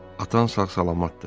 Atan sağ-salamatdır.